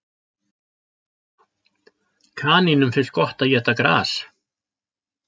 Kanínum finnst gott að éta gras.